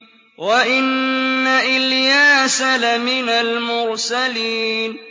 وَإِنَّ إِلْيَاسَ لَمِنَ الْمُرْسَلِينَ